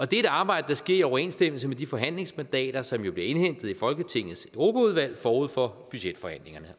det er et arbejde der sker i overensstemmelse med de forhandlingsmandater som jo bliver indhentet i folketingets europaudvalg forud for budgetforhandlingerne